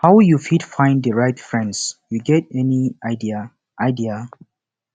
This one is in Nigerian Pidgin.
how you fit find di right friends you get any idea idea